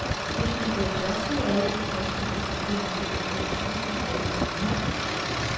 Hvis man bliver tørstig af al den friske luft, bliver man til gengæld sulten af al den hvidvin.